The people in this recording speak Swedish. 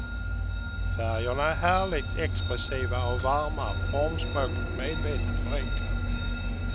Färgerna är härligt expressiva och varma, formspråket medvetet förenklat.